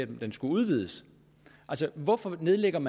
den skulle udvides altså hvorfor nedlagde man